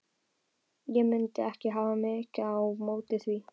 Ég mundi ekki hafa mikið á móti því.